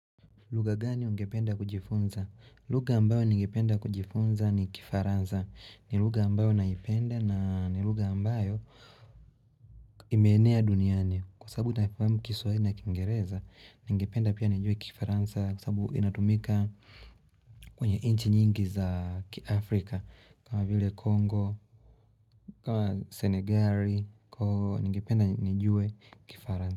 Lugha gani ungependa kujifunza? Lugha ambayo ningependa kujifunza ni kifaransa. Ni lugha ambayo naipenda na ni lugha ambayo imeenea duniani. Kwa sababu naifamu kiswahili na kiingereza, ningependa pia nijue kifaransa kwa sababu inatumika kwenye inchi nyingi za kiafrika. Kwa vile kongo, ua senegari, kwa hivo ningependa nijue kifaransa.